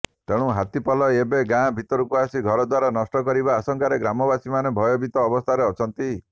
ତେଣୁ ହାତୀପଲ ଏବେ ଗାଁ ଭିତରକୁ ଆସି ଘରଦ୍ବାର ନଷ୍ଟ କରିବା ଆଶଙ୍କାରେ ଗ୍ରାମବାସୀମାନେ ଭୟଭୀତ ଅବସ୍ଥାରେ ଅଛନ୍ତି